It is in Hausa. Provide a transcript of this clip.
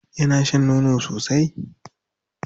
Yana shan nono sosai?